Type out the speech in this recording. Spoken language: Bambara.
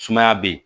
Sumaya be yen